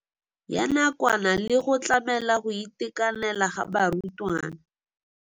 Ya nakwana le go tlamela go itekanela ga barutwana.